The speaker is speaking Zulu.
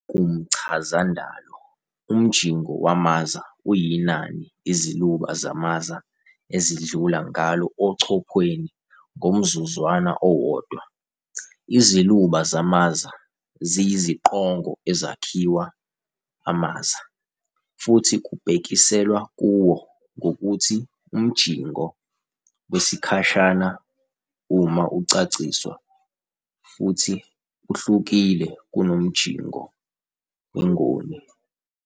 Kumchazandalo, umjingo wamaza uyinani iziluba zamaza ezidlula ngalo echophweni ngomzuzwana owodwa, iziluba zamaza ziyiziqongo ezakhiwa amaza. Futhi kubhekiselwa kuwo ngokuthi umjingo wesikhashana uma ucaciswa, futhi uhlukile kunomjingo wengoni.